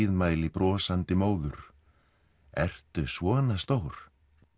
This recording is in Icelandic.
blíðmæli brosandi móður ertu svona stór